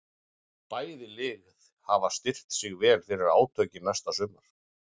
Bæði lið hafa styrkt sig vel fyrir átökin næsta sumar.